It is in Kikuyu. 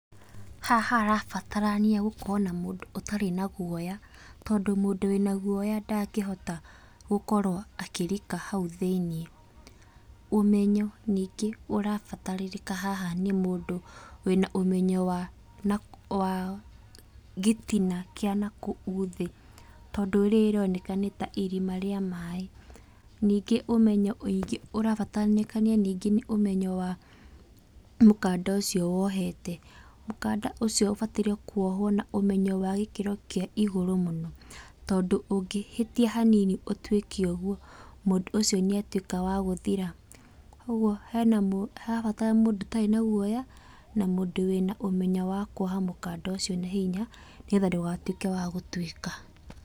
Haha harabatarania gũkorwo na mũndũ ũtarĩ na guoya, tondũ mũndũ wĩna guoya ndangĩhota gũkorwo akĩrika hau thĩiniĩ. Ũmenyo ningĩ ũrabatarĩka haha nĩ mũndũ wĩna ũmenyo wa nakũ wa gĩtina kĩa nakũu thĩ, tondũ rĩroneka tarĩ irima rĩa maĩ, ningĩ ũmenyo ũngĩ ũrabatararĩkana ningĩ nĩ ũmenyo wa mũkanda ũcio wohete, mũkanda ũcio ũbatairie kuohwo na ũmenyo wa gũkĩro kĩa igũrũ mũno, tondũ ũngĩhĩtia hanini ũtuĩke ũguo, mũndũ ũcio nĩatuĩka wa gũthira, ũguo hena mũ harabatara mũndũ ũtarĩ na guoya, na mũndũ wĩna ũmenyo wa kuoha mũkanda ũcio na hinya, nĩgetha ndũgatuĩke wa gũtuĩka.